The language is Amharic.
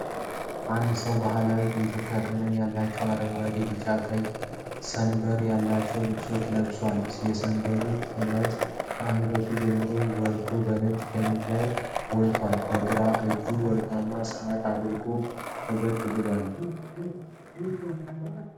አንድ ሰው ባህላዊ የኢትዮጵያ ቀለም ያላቸውን አረንጓዴ፣ ቢጫና ቀይ ሰንበር ያለበትን ልብስ ለብሷል። የሰንበሮቹ ጥለት ከአንገቱ ጀምሮ ወርዶ በነጭ ሸሚዝ ላይ ጎልቷል። በግራ እጁ ወርቃማ ሰዓት አድርጎ ፈገግ ብሏል።